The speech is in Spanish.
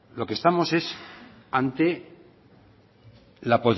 lo que estamos es ante la